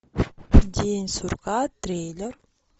день сурка трейлер